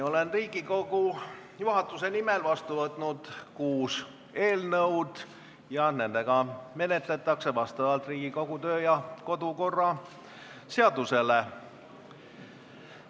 Olen Riigikogu juhatuse nimel vastu võtnud kuus eelnõu ja neid menetletakse vastavalt Riigikogu kodu- ja töökorra seadusele.